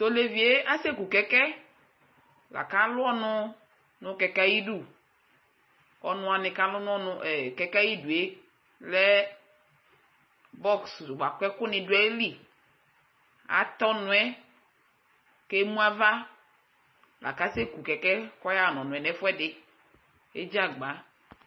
Tʋ olevi yɛ asɛku kɛkɛ la kʋ alʋ ɔnʋ nʋ kɛkɛ yɛ ayidu Ɔnʋ wanɩ kʋ alʋ nʋ ɔnʋ ee kɛkɛ yɛ ayidu yɛ lɛ bɔks bʋa kʋ ɛkʋnɩ dʋ ayili Atɛ ɔnʋ yɛ kʋ emu ava la kʋ asɛku kɛkɛ yɛ kʋ ɔyaɣa nʋ ɔnʋ yɛ nʋ ɛfʋɛdɩ Edzi agba